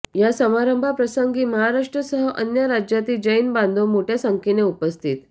या समारंभाप्रसंगी महाराष्ट्रासह अन्य राज्यातील जैन बांधव मोठय़ा संख्येने उपस्थित